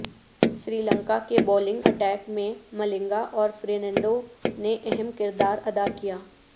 سری لنکا کے bowling attack میں ملنگا اور فرنینڈو نے اہم کردار ادا کیا